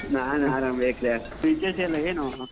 ನಾನ್ ಅರಾಮ್ ವಿವೇಕ್ರೆ, ವಿಶೇಷ ಎಲ್ಲ ಏನು?